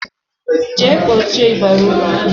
Jee kpọchie ịbarị ụlọ m!